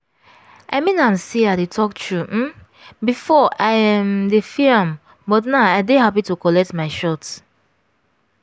i mean am say i dey talk true um before i um dey fear am but now i dey happy to collect my shot.